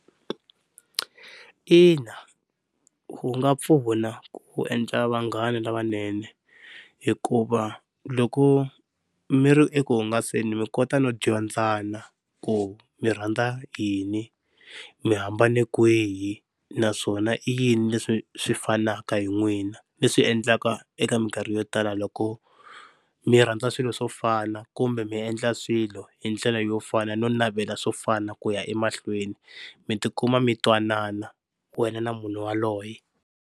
Ina wu nga pfuna ku endla vanghana lavanene hikuva loko mi ri eku hungaseni mi kota no dyondzana ku mi rhandza yini mi hambane kwihi naswona i yini leswi swi fanaka hi n'wina, leswi endlaka eka minkarhi yo tala loko mi rhandza swilo swo fana kumbe mi endla swilo hi ndlela yo fana no navela swo fana ku ya emahlweni mi tikuma mi twanana wena na munhu yaloye.